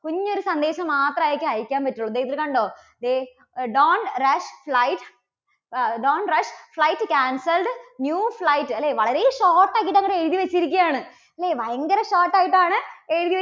കുഞ്ഞു ഒരു സന്ദേശം മാത്രായിട്ടേ അയക്കാൻ പറ്റൂളളൂ. ദേ ഇതിൽ കണ്ടോ, ദേ don't rush flight ആ don't rush flight cancelled new flight അല്ലേ? വളരെ short ആക്കിയിട്ട് അങ്ങട് എഴുതി വച്ചിരിക്കുകയാണ് അല്ലേ? ഭയങ്കര short ആയിട്ടാണ് എഴുതി